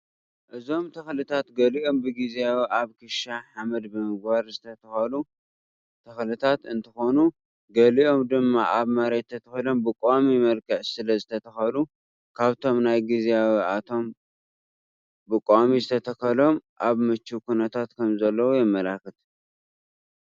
እዞም ተክልታት ገሊኦም ብግዚያዊ ኣብ ክሻ ሓመድ ብምግባር ዝተተከሉ ተክልታት እንትኮኑ ገሊኦም ድማ ኣብ መሬት ተተኪሎም ብቋሚ መልክዕ ስለ ዝተተከሉ ካብቶም ናይ ግዝያዊ እቶም ብቋሚ ዝተተከሎም ኣብ ምችው ኩነታት ከም ዘለዉ የመለካት፡፡